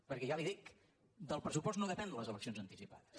perquè ja li dic del pressupost no depenen les eleccions anticipades